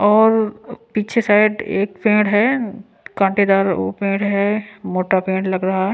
और पीछे साइड एक पेंड है कांटेदार वो पेड़ है मोटा पेंट लग रहा है ।